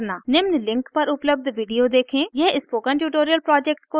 यह spoken tutorial project को सारांशित करता है